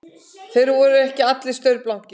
Þeir voru ekki allir staurblankir